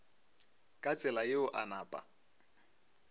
ka tsela yeo a napa